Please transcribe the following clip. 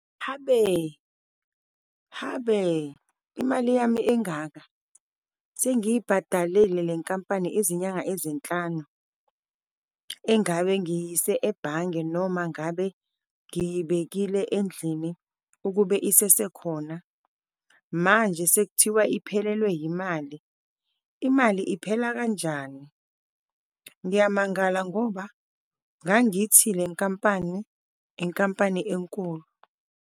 Habe, habe, imali yami engaka! Sengiyibhadalile le nkampani izinyanga ezinhlanu, engabe ngiyiyise ebhange noma ngabe ngiyibekile endlini, ukube isesekhona. Manje sekuthiwa iphelelwe yimali, imali iphela kanjani? Ngiyamangala ngoba ngangithi le nkampani inkampani enkulu.